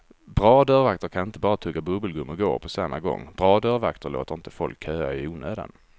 Bra dörrvakter kan inte bara tugga bubbelgum och gå på samma gång, bra dörrvakter låter inte folk köa i onödan.